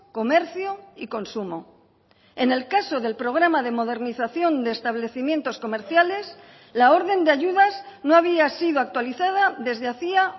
comercio y consumo en el caso del programa de modernización de establecimientos comerciales la orden de ayudas no había sido actualizada desde hacía